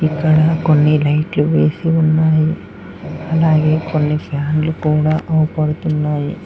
ఇక్కడ కొన్ని లైట్లు వేసి ఉన్నాయి అలాగే కొన్నిసార్లు కూడా ఆపడుతున్నాయి.